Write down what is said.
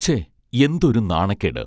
ഛെ എന്തൊരു നാണക്കേട്